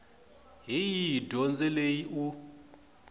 hi yihi dyondzo leyi u